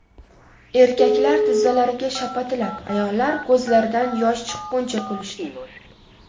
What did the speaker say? Erkaklar tizzalariga shapatilab, ayollar ko‘zlaridan yosh chiqquncha kulishdi.